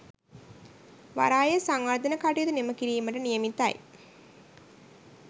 වරායේ සංවර්ධන කටයුතු නිම කිරීමට නියමිතයි